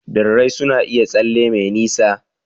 Birrai suna iya tsalle me nisa.